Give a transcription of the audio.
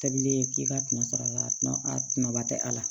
Tabilen k'i ka tɔnɔ sɔrɔ a la a kumaba tɛ a la